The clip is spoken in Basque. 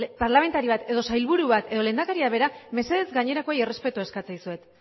parlamentari bat edo sailburu bat edo lehendakariak berak mesedez gainerakoei errespetua eskatzen dizuet